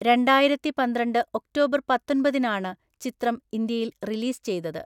രണ്ടായിരത്തിപന്ത്രണ്ട് October പത്തൊന്‍പതിനാണ് ചിത്രം ഇന്ത്യയിൽ റിലീസ് ചെയ്തത്.